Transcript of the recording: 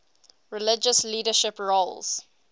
religious leadership roles